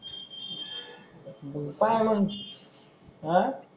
मग पाहे मग आह